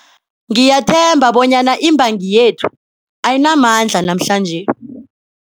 Ngiyathemba bonyana imbangi yethu ayinamandla namhlanje.